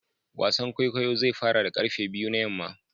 wasan kwaikwayo zai fara da karfe biyu na yamma